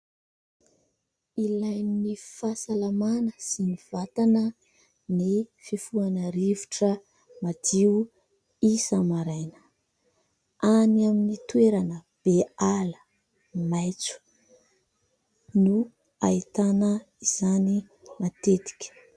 Ilain'ny fahasalamana sy ny vatana ny fifohana rivotra, madio isa-maraina; any amin'ny toerana be ala maitso, no hahitana izany matetika.